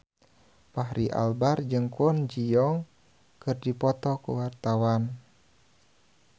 Fachri Albar jeung Kwon Ji Yong keur dipoto ku wartawan